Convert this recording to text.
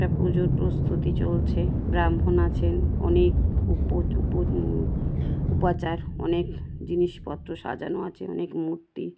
একটা পুজোর প্রস্তুতি চলছে ব্রাহ্মণ আছেন অনেক উপো-উপচ-উপাচার অনেক জিনিসপত্র সাজানো আছে অনেক মূর্তি--